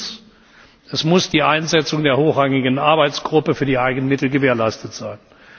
3. Es muss die Einsetzung der hochrangigen Arbeitsgruppe für die Eigenmittel gewährleistet sein.